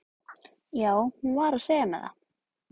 Já, hún var að segja mér það